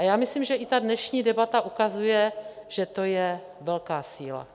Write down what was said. A já myslím, že i ta dnešní debata ukazuje, že to je velká síla.